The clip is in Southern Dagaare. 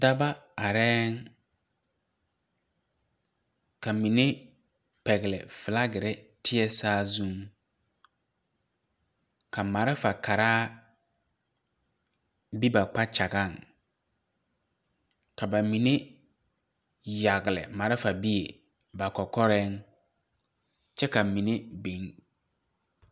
Daba areɛɛŋ ka mine pɛgle flagirre teɛ saazu ka marifa karaa be ba kpakyagaŋ ka ba mine yagle marifa bie ba kɔkɔɛŋ kyɛ ka mine biŋ.